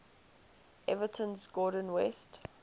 everton's gordon west